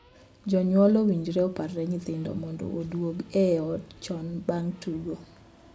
Jonyuol owinjore oparne nyithindo mondo oduog e ot chon bang' tugo.